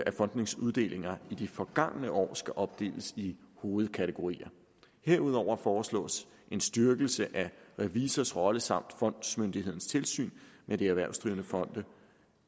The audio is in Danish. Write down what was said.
at fondenes uddelinger i de forgangne år skal opdeles i hovedkategorier herudover foreslås en styrkelse af revisors rolle samt fondsmyndighedens tilsyn med de erhvervsdrivende fonde